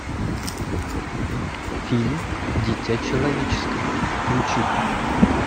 фильм дитя человеческое включи ка